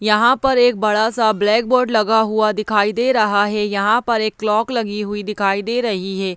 यहाँ पर एक बड़ा सा ब्लैक बोर्ड लगा हुआ दिखाई दे रहा है यहाँ पर एक क्लॉक लगी हुई दिखाई दे रही है।